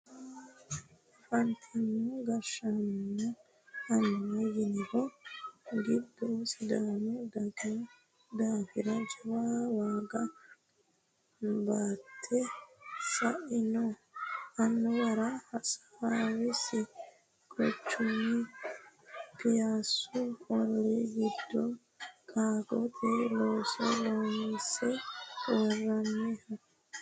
afantino gashshaanonna annuwa yinanniri giddo sidaamu daga daafira jawa waaga baatte sa'ino annuwara hawaasi quchumi piyaassu ollii giddo qaaggote looso loonse worroonniho